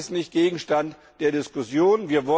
Nein, das ist nicht Gegenstand der Diskussion!